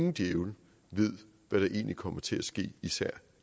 en djævel ved hvad der egentlig kommer til at ske især